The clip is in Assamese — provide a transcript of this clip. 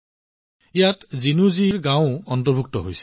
ইয়াত জিনু জীৰ গাওঁও অন্তৰ্ভুক্ত আছে